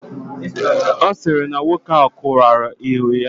Ọ sịrị na nwoke ahụ kụwara enyo ya.